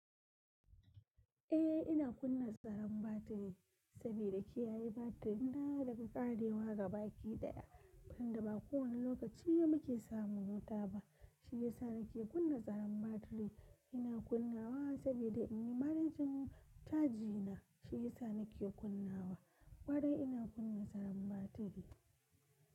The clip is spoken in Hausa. Eh ina kunna tsaron batiri, saboda kiyayi batiri. Na da ka ƙarewa gaba ki ɗaya, inda ba kowane lokaci ne muke samun wuta ba, shi yasa nake kunna tsaron batiri. Ina kunnawa saboda in yi manajin chaji na shi yasa nake kunnawa, ƙwarai ina kunna tsaron batiri.